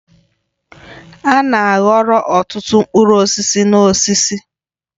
A na-aghọrọ ọtụtụ mkpụrụ osisi n'osisi.